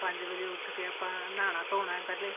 ਪੰਜ ਵਜੇ ਉਠ ਕੇ ਆਪਾਂ ਨਹਾਉਣਾ ਧੋਣਾ ਪਹਿਲੇ